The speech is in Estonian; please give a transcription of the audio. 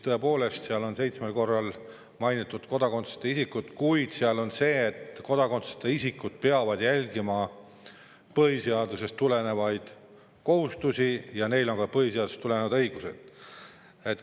Tõepoolest, seal on seitsmel korral mainitud kodakondsuseta isikuid, kuid seal on öeldud nii, et kodakondsuseta isikud peavad järgima põhiseadusest tulenevaid kohustusi ja neil on ka põhiseadusest tulenevad õigused.